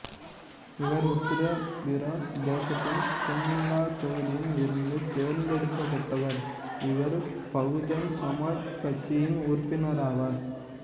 இவர் உத்திரபிரதேசத்தின் துன்லா தொகுதியில் இருந்து தேர்ந்தெடுக்கப்பட்டவர் இவர் பகுஜன் சமாஜ் கட்சியின் உறுப்பினராவாா்